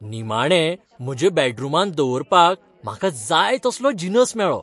निमाणें म्हज्या बॅडरूमांत दवरपाक म्हाका जाय तसलो जिनस मेळ्ळो.